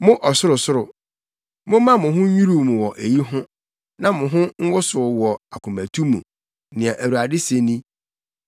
Mo ɔsorosoro, momma mo ho nnwiriw mo wɔ eyi ho, na mo ho nwosow wɔ akomatu mu,” nea Awurade se ni.